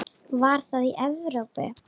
Var það í Evrópu?